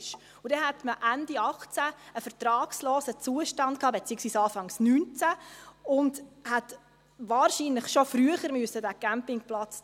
Und dann hätte man Ende 2018 – beziehungsweise Anfang 2019 – einen vertragslosen Zustand gehabt und hätte diesen Campingplatz wahrscheinlich schon früher schliessen müssen.